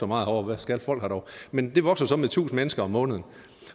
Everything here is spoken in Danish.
meget herovre hvad skal folk her dog men det vokser så med tusind mennesker om måneden